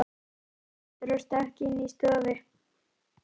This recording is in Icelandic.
Spratt á fætur og stökk inn í stofu.